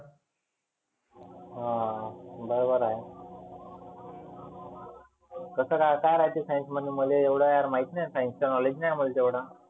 हा बरोबर आहे. कसं काय? काय राहते science मध्ये? मले एवढ यार माहित नाही science knowledge नाहीए मला एवढंं.